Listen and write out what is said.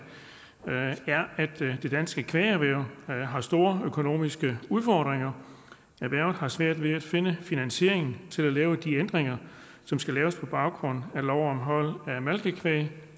er at det danske kvægerhverv har store økonomiske udfordringer erhvervet har svært ved at finde finansiering til at lave de ændringer som skal laves på baggrund af lov om hold af malkekvæg